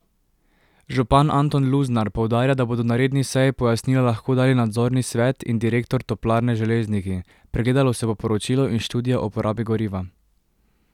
Župan Anton Luznar poudarja, da bodo na redni seji pojasnila lahko dali nadzorni svet in direktor Toplarne Železniki, pregledalo se bo poročilo in študija o porabi goriva.